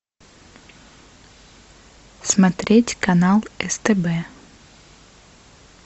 смотреть канал стб